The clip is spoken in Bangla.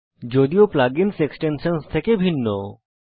যদিও plug insএক্সটেনশনসহ থেকে ভিন্ন